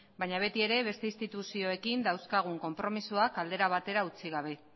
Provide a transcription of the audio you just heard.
baina beti ere beste instituzioekin dauzkagun aldera batera utzi gabe